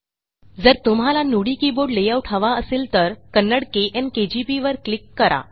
जर तुम्हाला Nudi keyboard layout हवा असेल तर कन्नडा केएन केजीपी वर क्लिक करा